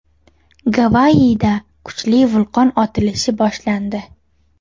Gavayida kuchli vulqon otilishi boshlandi.